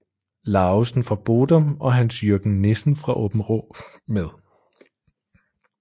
Lauesen fra Bodum og Hans Jürgen Nissen fra Aabenraa med